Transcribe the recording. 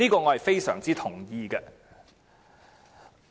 "我非常同意這點。